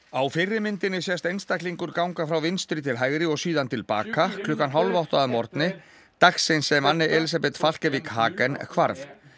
á fyrri myndinni sést einstaklingur ganga frá vinstri til hægri og síðan til baka klukkan hálf átta að morgni dagsins sem Anne Elisabeth Falkevik Hagen hvarf